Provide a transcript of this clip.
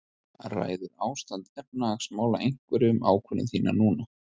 Ræður ástand efnahagsmála einhverju um ákvörðun þína núna?